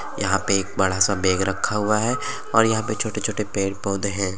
यहाँ पे एक बड़ा सा बेग रक्खा हुआ है और यहा पे छोटे - छोटे पेंड़ पौधे हैं ।